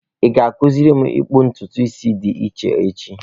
Ị ga-akụziri m ikpu ntutu isi dị iche, echi?